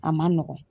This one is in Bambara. A ma nɔgɔn